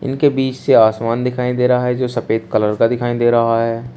इनके बीच से आसमान दिखाई दे रहा है जो सफेद कलर का दिखाई दे रहा है।